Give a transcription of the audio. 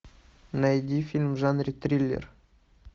найди фильм в жанре триллер